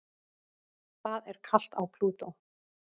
Það er kalt á Plútó.